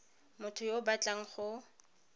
motho yo o batlang go